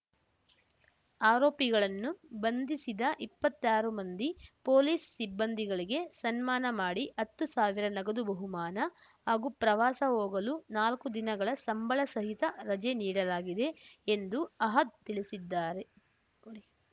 ಆರೋಪಿಗಳನ್ನು ಬಂಧಿಸಿದ ಇಪ್ಪತ್ತಾರು ಮಂದಿ ಪೊಲೀಸ್ ಸಿಬ್ಬಂದಿಗಳಿಗೆ ಸನ್ಮಾನ ಮಾಡಿ ಹತ್ತು ಸಾವಿರ ನಗದು ಬಹುಮಾನ ಹಾಗೂ ಪ್ರವಾಸ ಹೋಗಲು ನಾಲ್ಕು ದಿನಗಳ ಸಂಬಳಸಹಿತ ರಜೆ ನೀಡಲಾಗಿದೆ ಎಂದು ಅಹದ್ ತಿಳಿಸಿದ್ದಾರೆ